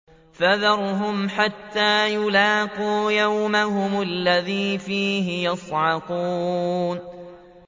فَذَرْهُمْ حَتَّىٰ يُلَاقُوا يَوْمَهُمُ الَّذِي فِيهِ يُصْعَقُونَ